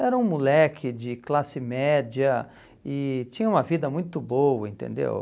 Era um moleque de classe média e tinha uma vida muito boa, entendeu?